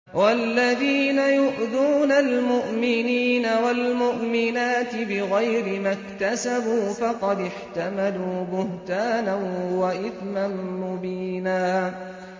وَالَّذِينَ يُؤْذُونَ الْمُؤْمِنِينَ وَالْمُؤْمِنَاتِ بِغَيْرِ مَا اكْتَسَبُوا فَقَدِ احْتَمَلُوا بُهْتَانًا وَإِثْمًا مُّبِينًا